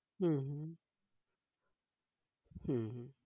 হম হম